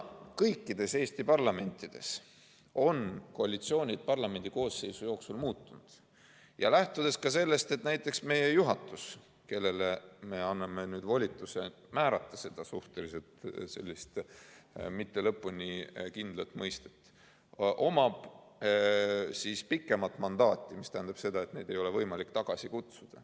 Eestis on kõik koalitsioonid ühe parlamendikoosseisu jooksul muutunud ja näiteks meie juhatus, kellele me anname nüüd volituse määrata seda suhtelist, mitte lõpuni kindlat mõistet, omab pikemat mandaati, st neid ei ole võimalik tagasi kutsuda.